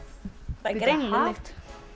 það er greinileg lykt